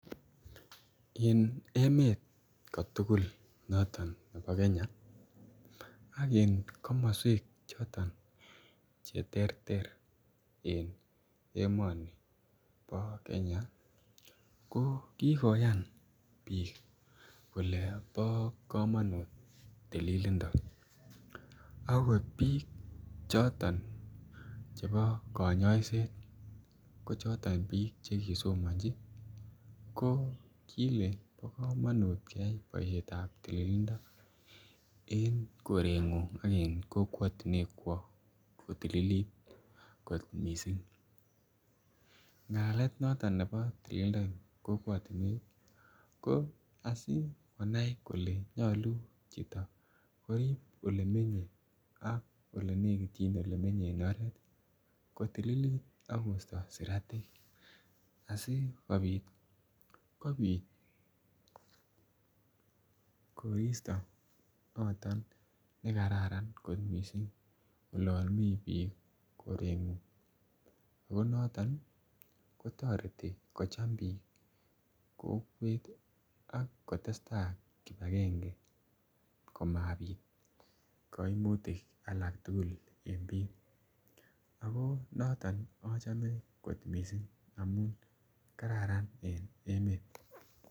En emet katukul noton nebo kenya ak en komoswek choton cheterter en emoni bo keny ako kikoyan bik kole bo komonut tililindo ako bik choton chebo konyoiset ko choton bik chekisomanchi ko kile bo komonut keyai boisheta tililindo en korenguny ak en kokwotunwek kwo kotililit kot missing. Ngalalet noton nebo tililindo en kokwotunwek ko asikonai kole nyolu chito korib olemenye ak olenekityin ak olemenye en oret kotililit akosto siratik asikopit kopit koristo noton nekararan kot missing olon mii bik korengung ko noton kotoreti kocham bik kokwet tii akotesetai kipagenge komabit koimutik alak tukul en bik, ako noton ochome kot missing amun kararan en emet.